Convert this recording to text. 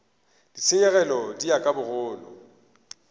ditshenyegelo di ya ka bogolo